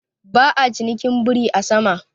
Ba'a cinikin biri a sama.